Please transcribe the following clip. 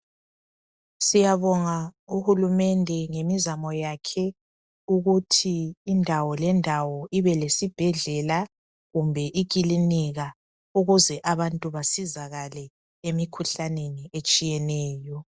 Siyabonga uhulumende ngemizamo yakhe ukuthi indawo lendawo ibe lesibhedlela kumbe ikilinika ukuze abantu basizakale emikhuhlaneni etshiyeneyo.